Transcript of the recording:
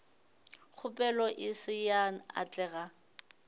kgopelo e se ya atlega